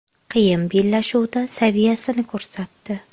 Qiyin bellashuvda saviyasini ko‘rsatdi.